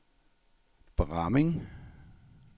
Bramming